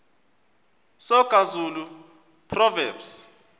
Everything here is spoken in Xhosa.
soga zulu proverbs